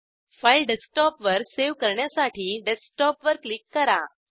file डेस्कटॉपवर save करण्यासाठी desktop वर क्लिक करा